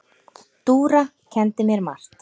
Dúra kenndi mér margt.